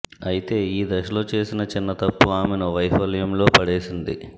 అయితే ఈ దశలో చేసిన చిన్న తప్పు ఆమెను వైఫల్యంలో పడేసింది